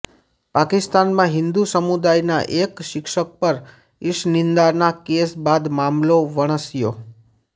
પાકિસ્તાનમાં હિન્દુ સમુદાયના એક શિક્ષક પર ઇશનિંદાના કેસ બાદ મામલો વણસ્યો